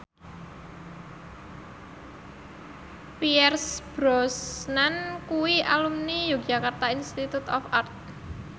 Pierce Brosnan kuwi alumni Yogyakarta Institute of Art